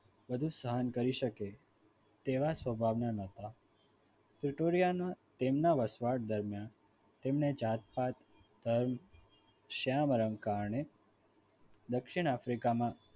બધું જ સહન કરી શકે તેવા સ્વભાવના નતા તૂટોડિયાનો તેમના વસવાટ દરમિયાન તેમને જાત પાત ધર્મ શ્યામ રંગ કારણે દક્ષિણ africa માં